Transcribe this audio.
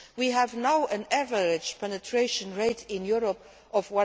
We now have an average penetration rate in Europe of